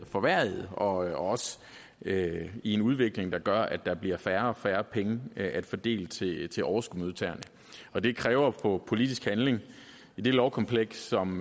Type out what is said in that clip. forværret og er også inde i en udvikling der gør at der bliver færre og færre penge at fordele til til overskudsmodtagerne og det kalder på politisk handling i det lovkompleks som